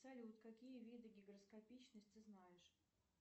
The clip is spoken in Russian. салют какие виды гигроскопичность ты знаешь